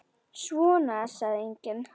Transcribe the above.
Svona sagði enginn.